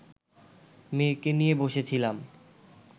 মেয়েকে নিয়ে বসেছিলাম